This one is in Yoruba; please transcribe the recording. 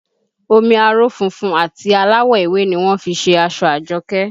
Omi aró funfun àti aláwọ̀ ewé ni wọ́n fi ṣe aṣọ Àjọkẹ́